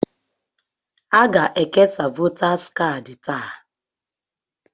Aga-ekesa votaas kaadị taa.